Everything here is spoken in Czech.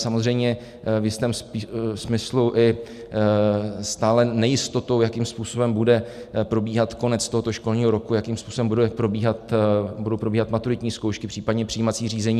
Samozřejmě v jistém smyslu i stále nejistotou, jakým způsobem bude probíhat konec tohoto školního roku, jakým způsobem budou probíhat maturitní zkoušky, případně přijímací řízení.